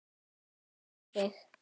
Upp með þig!